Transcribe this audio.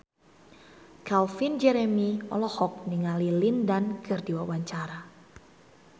Calvin Jeremy olohok ningali Lin Dan keur diwawancara